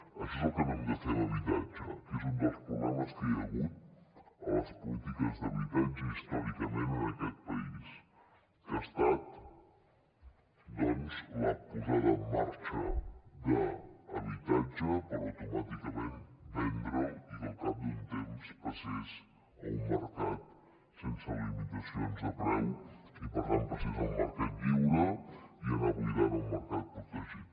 això és el que no hem de fer en habitatge que és un dels problemes que hi ha hagut a les polítiques d’habitatge històricament en aquest país que ha estat la posada en marxa d’habitatge per automàticament vendre’l i que al cap d’un temps passés a un mercat sense limitacions de preu i per tant passés al mercat lliure i anar buidant el mercat protegit